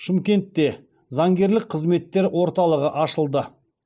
шымкентте заңгерлік қызметтер орталығы ашылды